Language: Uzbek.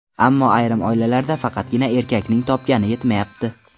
Ammo ayrim oilalarda faqatgina erkakning topgani yetmayapti.